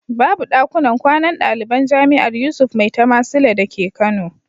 Babu ɗakunan kwanan ɗaliban jami'ar Yusuf Maitama Sule dake Kano.